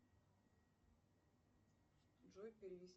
джой перевести